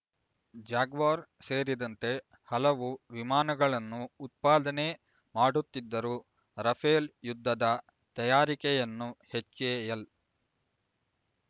Jaguar ಸೇರಿದಂತೆ ಹಲವು ವಿಮಾನಗಳನ್ನು ಉತ್ಪಾದನೆ ಮಾಡುತ್ತಿದ್ದರೂ ರಫೇಲ್ ಯುದ್ಧದ ತಯಾರಿಕೆಯನ್ನು ಹೆಚ್ಎಎಲ್